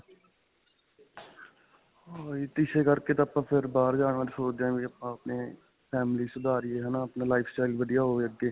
ਹਾਂ ਇਸੇ ਕਰਕੇ ਤਾਂ ਆਪਾਂ ਬਾਹਰ ਜਾਣ ਬਾਰੇ ਸੋਚ ਰਹੇਂ ਹਾਂ ਕਿ ਆਪਾਂ ਆਪਣੇ family ਸੁਧਾਰੀਏ ਹੈ ਨਾਂ ਆਪਣਾ lifestyle ਵਧੀਆ ਹੋਵੇ ਅੱਗੇ.